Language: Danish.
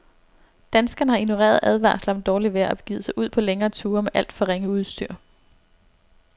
Danskerne har ignoreret advarsler om dårligt vejr og begivet sig ud på længere ture med alt for ringe udstyr.